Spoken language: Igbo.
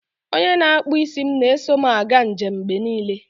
onye na-akpụ isi m na-eso m aga njem mgbe niile